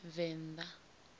venda